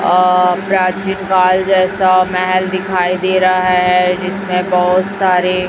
आ प्राचीन काल जैसा महल दिखाई दे रहा है जिसमें बहोत सारे--